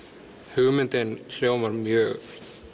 hugmyndin hljómar mjög